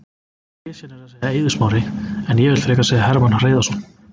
Klisjan er að segja Eiður Smári en ég vill frekar segja Hermann Hreiðarsson.